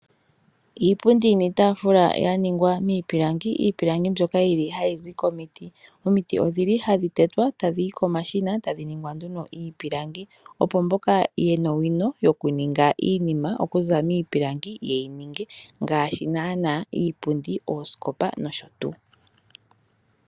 Iipundi niitaafula ya ningwa miipilangi, iipilangi mbyoka hayi zi komiti. Omiti ohadhi tetwa tadhi yi komashina tadhi ningwa nduno iipilangi, opo mboka ye na owino yokuninga iinima okuza miipilangi ye yi ninge ngaashi iipundi, oosikopa nosho tuu.